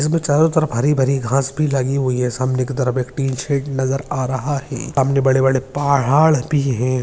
जिसमे चारों तरफ हरी भारी घास भी लगी हुई है सामने की तरफ एक टीन शेड नजर आ रहा है सामने बड़े बड़े प-हाड़ भी हैं।